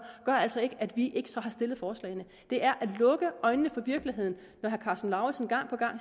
gør altså ikke at vi så ikke har stillet forslagene det er at lukke øjnene for virkeligheden når herre karsten lauritzen gang på gang